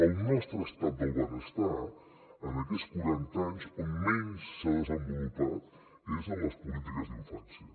el nostre estat del benestar en aquests quaranta anys on menys s’ha desenvolupat és en les polítiques d’infància